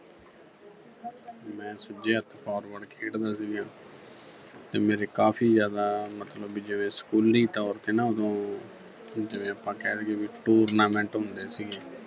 ਮੈਂ ਸੱਜੇ ਹੱਥ forward ਖੇਡਦਾ ਸੀਗਾ ਤੇ ਮੇਰੇ ਕਾਫੀ ਜ਼ਿਆਦਾ ਮਤਲਬ ਵੀ ਜਿਵੇਂ ਸਕੂਲੀ ਤੌਰ ਤੇ ਨਾ ਉਦੋਂ ਜਿਵੇਂ ਆਪਾਂ ਕਹਿ ਦੇਈਏ ਵੀ tournament ਹੁੰਦੇ ਸੀਗੇ